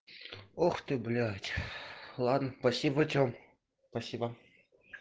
ух ты блять ладно спасибо тем спасибо